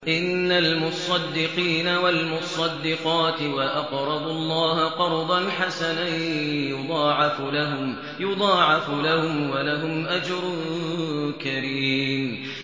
إِنَّ الْمُصَّدِّقِينَ وَالْمُصَّدِّقَاتِ وَأَقْرَضُوا اللَّهَ قَرْضًا حَسَنًا يُضَاعَفُ لَهُمْ وَلَهُمْ أَجْرٌ كَرِيمٌ